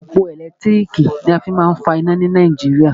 Òpó ẹ̀lẹ́tírìkì ni a fí má a ń fa iná ni Nàìjíríà.